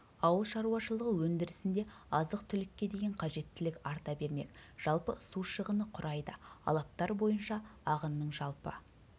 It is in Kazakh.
ауыл шаруашылығы өндірісінде азық-түлікке деген қажеттілік арта бермек жалпы су шығыны құрайды алаптар бойынша ағынның жалпы